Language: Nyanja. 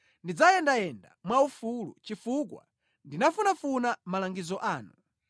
Ndidzayendayenda mwaufulu, chifukwa ndinafunafuna malangizo anu.